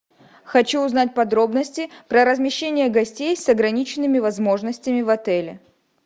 хочу узнать подробности про размещение гостей с ограниченными возможностями в отеле